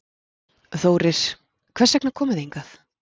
Þórir: Hvers vegna komu þið hingað?